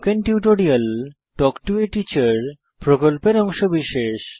spoken tutorial talk to a teacher প্রকল্পের অংশবিশেষ